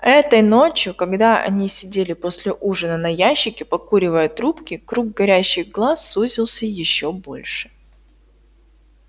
этой ночью когда они сидели после ужина на ящике покуривая трубки круг горящих глаз сузился ещё больше